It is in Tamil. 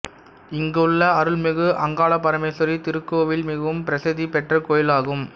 இங்கு உள்ள அருள்மிகு அங்காள பரமேஸ்வரி திருக்கோவில் மிகவும் பிரசித்தி பெற்ற கோவிலாகும்